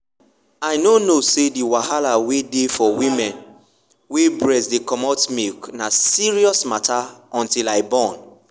i nor know say the wahala wey dey for women wey breast dey comot milk na serious matter until i born.